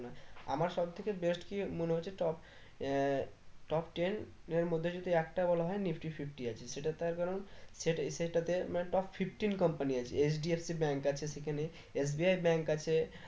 আমার সব থেকে best কি মনে হচ্ছে top আহ top ten এর মধ্যে যদি একটা বলা হয়ে nifty fifty আছে সেটা তার কারণ সেইটা সেটাতে মানে top fifteen company আছে HDFC Bank আছে সেখানে SBIbank আছে